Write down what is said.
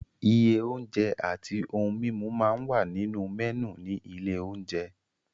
Iye oúnjẹ àti ohun-mímu máa ń wà nínú mẹ́nù ní ilé-oúnjẹ.